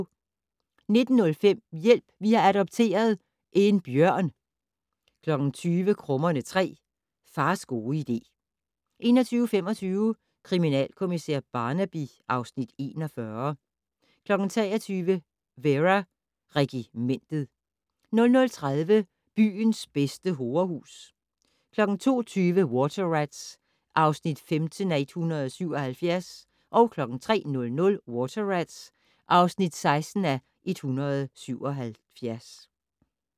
19:05: Hjælp! Vi har adopteret - en bjørn 20:00: Krummerne 3: Fars gode idé 21:25: Kriminalkommissær Barnaby (Afs. 41) 23:00: Vera: Regimentet 00:30: Byens bedste horehus 02:20: Water Rats (15:177) 03:00: Water Rats (16:177)